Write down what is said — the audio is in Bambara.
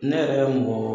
Ne yɛrɛ ye mɔgɔ